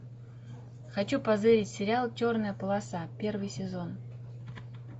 хочу позырить сериал черная полоса первый сезон